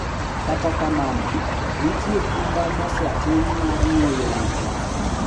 Kata kamano, nitie kinda mosetim mar geng’o wechegi: